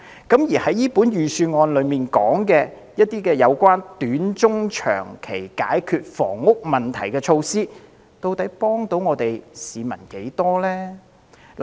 因此，預算案提出一些有關短、中、長期解決房屋問題的措施，其實可否幫助市民呢？